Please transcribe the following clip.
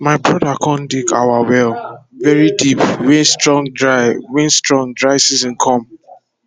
my broda com dig our well very deep wen strong dry wen strong dry season come